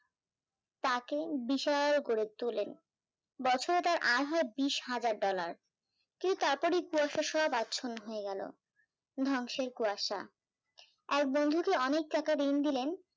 তাকে বিশাল গড়ে তোলেন বছরে তার আয় হয় বিশ হাজার ডলার, কি তারপরেই কুয়াশায় সব আচ্ছন্ন হয়ে গেল, ধ্বংসের কুয়াশা, আর বন্ধুটি অনেক টাকা ঋণ দিলেন